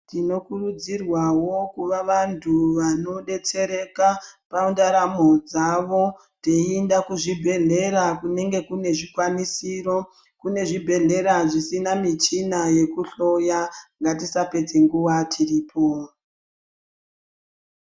Tinokurudzirwavo kuva vantu vanobetsereka pandaramo dzavo. Teienda kuzvibhedhlera kunenge kune zvikwanisiro kune zvibhedhlera zvisina michina yekuhloya ngatisapedza nguva tiripo.